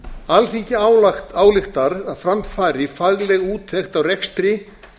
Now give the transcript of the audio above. alþingi ályktar að fram fari fagleg úttekt á rekstri